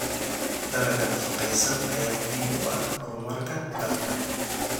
Dalagga nafaqeysan ayaa muhiim u ah horumarka dalka.